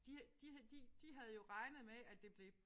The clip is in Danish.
De de de de havde jo regnet med at det blev